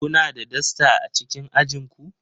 Kuna da dasta a cikin ajin ku